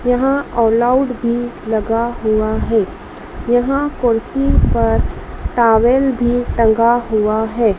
यहां All Out भी लगा हुआ है यहां कुर्सी पर टॉवल भी टंगा हुआ है।